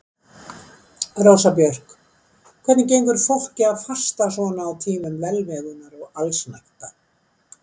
Rósa Björk: Hvernig gengur fólki að fasta svona á tímum velmegunar og allsnægta?